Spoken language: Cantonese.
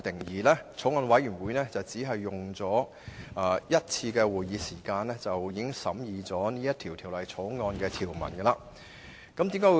法案委員會只召開一次會議便完成審議《條例草案》的條文。